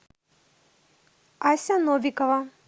ася новикова